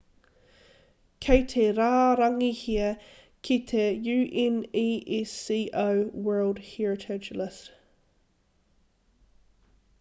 kei te rārangihia ki te unesco world heritage list